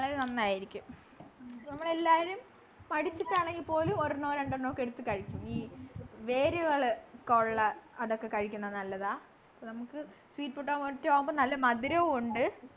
വളരെ നന്നായിരിക്കും നമ്മളെല്ലാവരും പഠിച്ചിട്ടാണെങ്കിൽ പോലും ഒരെണ്ണോ രണ്ടെണ്ണോ ഒക്കെ എടുത്തു കഴിക്കും വേരുകള് ഒക്കെ ഉള്ള അതൊക്കെ കഴിക്കുന്ന നല്ലതാ നമ്മക്ക് sweet potato ആവുമ്പൊ നല്ല മധുരവും ഉണ്ട്